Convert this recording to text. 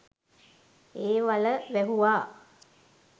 ඒ වළ වැහුවා.